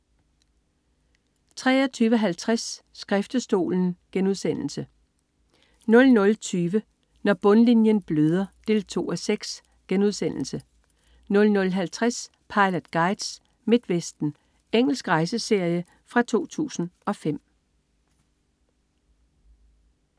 23.50 Skriftestolen* 00.20 Når bundlinjen bløder 2:6* 00.50 Pilot Guides: Midtvesten. Engelsk rejseserie fra 2005